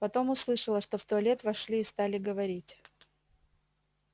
потом услышала что в туалет вошли и стали говорить